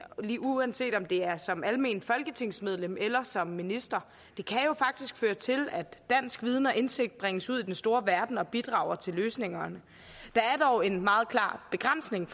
uanset om det er som almindeligt folketingsmedlem eller som minister det kan jo faktisk føre til at dansk viden og indsigt bringes ud i den store verden og bidrager til løsninger der er dog en meget klar begrænsning